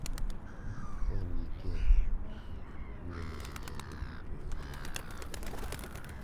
ka in gi keny, obiro nyisi chenro duto e wi wachno.